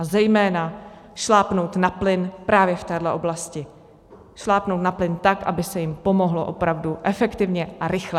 A zejména šlápnout na plyn právě v téhle oblasti, šlápnout na plyn tak, aby se jim pomohlo opravdu efektivně a rychle.